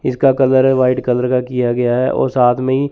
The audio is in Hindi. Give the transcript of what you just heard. इसका कलर है वाइट कलर का किया गया है और साथ में ही--